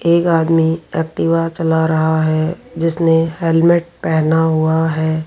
एक आदमी एक्टिवा चला रहा है जिसने हेलमेट पहना हुआ है।